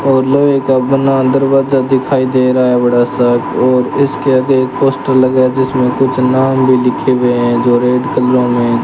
और लोहे का बना दरवाजा दिखाई दे रहा है बड़ा सा और इसके आगे एक पोस्टर लगा है जिसमें कुछ नाम भी लिखे हुए हैं जो रेड कलरो में --